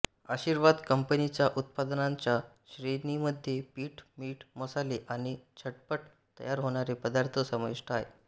आशीर्वाद कंपनीच्या उत्पादनांच्या श्रेणीमध्ये पीठ मीठ मसाले आणि झटपट तयार होणारे पदार्थ समाविष्ट आहेत